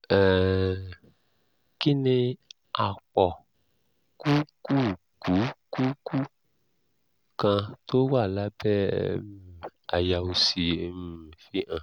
um kí ni àpọ̀kùkùkùkù kan tó wà lábẹ́ um àyà òsì um fi hàn?